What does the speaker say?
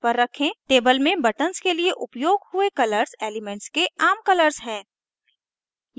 table में buttons के लिए उपयोग हुए colors एलीमेन्ट्स के आम colors हैं